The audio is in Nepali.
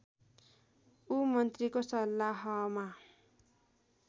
ऊ मन्त्रीको सल्लाहमा